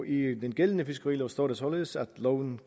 i den gældende fiskerilov står der således at loven